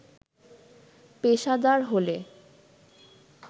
পেশাদার হলে